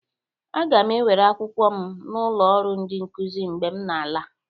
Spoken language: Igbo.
Aga m ewere akwụkwọ m n'ụlọ ọrụ Ndị nkuzi mgbe m na-ala